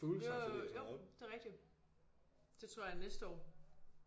Jo jo jo det er rigtigt det tror jeg er næste år